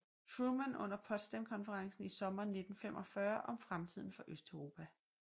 Truman under Potsdamkonferencen i sommeren 1945 om fremtiden for Østeuropa